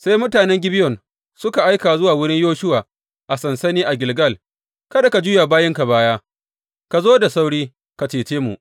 Sai mutanen Gibeyon suka aika zuwa wurin Yoshuwa a sansani a Gilgal, Kada ka juya wa bayinka baya, ka zo da sauri ka cece mu!